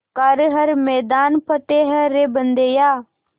कर हर मैदान फ़तेह रे बंदेया